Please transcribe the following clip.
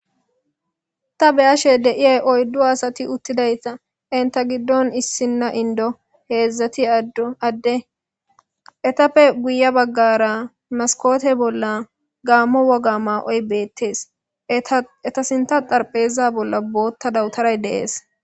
ta beyashe deiyey oyddu asati uttidayta inta giddon issinna indo heedzdzati dd adde etappe guya baggara maskote bolla gammo woga maa7oy beettees eta sinta xarpheza bolla bootta dawutaray deees